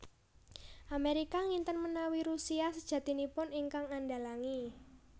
Amérika nginten manawi Rusia sajatinipun ingkang andhalangi